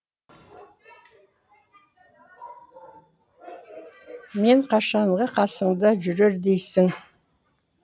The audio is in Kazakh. мен қашанғы қасыңда жүрер дейсің